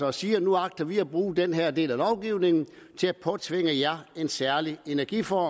og siger nu agter vi at bruge den her del af lovgivningen til at påtvinge jer en særlig energiform